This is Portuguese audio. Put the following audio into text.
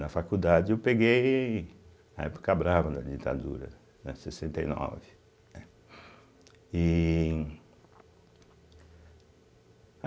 Na faculdade eu peguei a época brava da ditadura, né, sessenta e nove, né iihh